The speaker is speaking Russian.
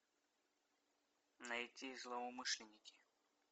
найти злоумышленники